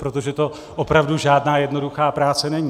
Protože to opravdu žádná jednoduchá práce není.